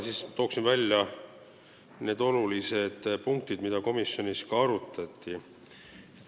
Toon välja need olulised punktid, mida komisjonis arutati.